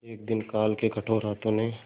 एक दिन काल के कठोर हाथों ने